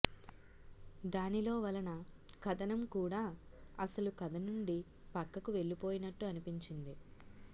దానిలో వలన కథనం కూడా అసలు కథ నుండి పక్కకు వెళ్ళిపోయినట్టు అనిపించింది